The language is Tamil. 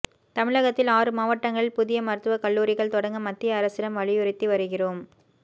தமிழகத்தில் ஆறு மாவட்டங்களில் புதிய மருத்துவக் கல்லூரிகள் தொடங்க மத்திய அரசிடம் வலியுறுத்தி வருகிறோம்